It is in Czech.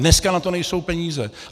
Dneska na to nejsou peníze.